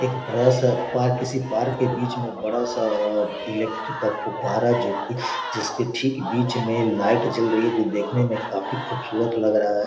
एक बड़ा-सा पार्क इसी पार्क के बीच में बड़ा-सा इक्लेक्ट्रिक का फुव्वारा जो कि जिसके ठीक बीच में लाइट जल रही हैं जो देखने में काफी खूबसूरत लग रहा है।